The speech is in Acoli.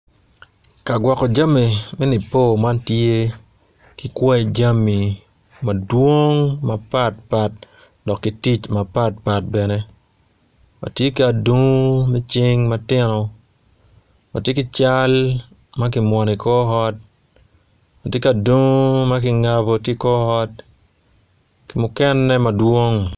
Kagwoko jami me nipo man tye ki kwai jami madwong mapat pat wa ki tic mapat pat bene watye ki adungu me cing matino watye ki cal makimwono i kor ot watye ki adungu makingabo ki kor ot ki mukene madwong.